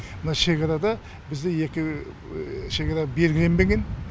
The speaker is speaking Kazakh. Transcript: мына шекарада бізде екі шекара белгіленбеген